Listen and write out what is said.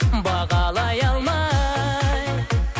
бағалай алмай